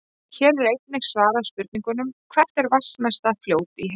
Hér er einnig svarað spurningunum: Hvert er vatnsmesta fljót í heimi?